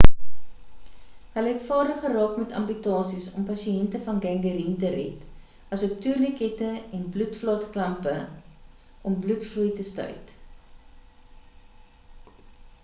hulle het vaardig geraak met amputasies om pasiënte van gangreen te red asook toernikette en bloedvaat klampe om bloedvloei te stuit